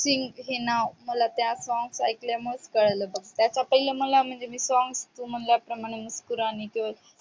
सिंग ईना ते song एकल्यावर कळल अर्जित सिंग तस पहिल्या मला म्हणजे songs मदल्या मुस्कूराने की वजा